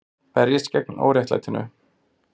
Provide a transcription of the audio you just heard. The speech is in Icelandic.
Berjist gegn óréttlætinu